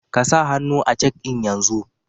Kasa hannu a cek ɗin yanzu!